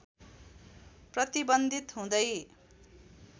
प्रतिबन्धित हुँदै